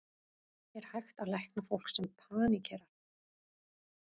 Er hægt að lækna fólk sem paníkerar?